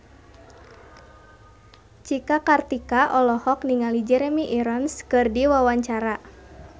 Cika Kartika olohok ningali Jeremy Irons keur diwawancara